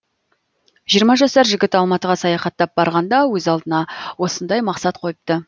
жиырма жасар жігіт алматыға саяхаттап барғанда өз алдына осындай мақсат қойыпты